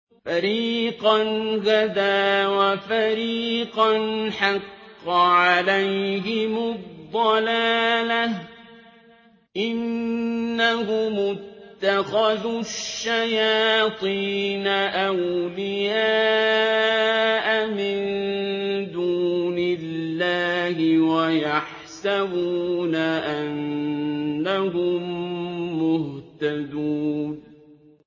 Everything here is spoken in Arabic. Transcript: فَرِيقًا هَدَىٰ وَفَرِيقًا حَقَّ عَلَيْهِمُ الضَّلَالَةُ ۗ إِنَّهُمُ اتَّخَذُوا الشَّيَاطِينَ أَوْلِيَاءَ مِن دُونِ اللَّهِ وَيَحْسَبُونَ أَنَّهُم مُّهْتَدُونَ